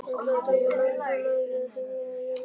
Altarið táknar líka nærveru himinsins á jörðinni.